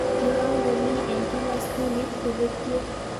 Kiwango ni eng kila skulit kobetie